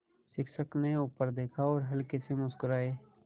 शिक्षक ने ऊपर देखा और हल्के से मुस्कराये